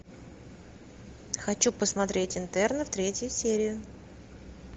хочу посмотреть интерны третья серия